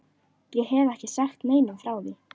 Ég hef ekki sagt neinum frá því.